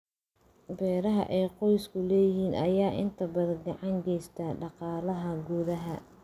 Beeraha ay qoysku leeyihiin ayaa inta badan gacan ka geysta dhaqaalaha gudaha.